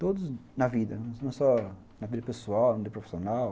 Todos na vida, não só na vida pessoal, na vida profissional.